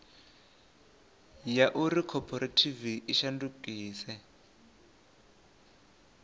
ya uri khophorethivi i shandukise